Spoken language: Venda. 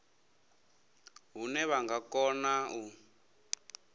hune vha nga kona u